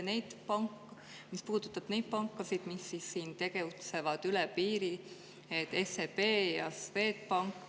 Eriti mis puudutab neid pankasid, mis siin tegutsevad üle piiri, SEB ja Swedbank.